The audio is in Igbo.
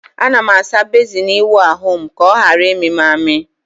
Aga m asa bezin ịwụ ahụ m ka ọ ghara ịmị m amị.